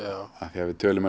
því við tölum